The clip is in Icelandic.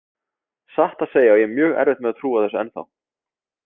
Satt að segja á ég mjög erfitt með að trúa þessu ennþá.